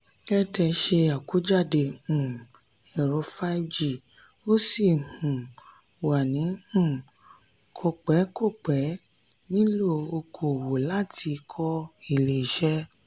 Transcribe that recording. airtel se akojade um ẹ̀rọ five g ó sì um wà ní um kọ̀pẹ́-kọ̀pẹ́ nílò oko-òwò láti kọ́ ilé-ìṣe.